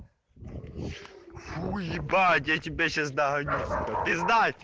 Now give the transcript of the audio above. уебать я тебя сейчас догоню